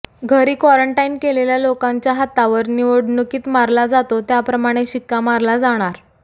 घरी कॉरंटाईन केलेल्या लोकांच्या हातावर निवडणुकीत मारला जातो त्याप्रमाणे शिक्का मारला जाणार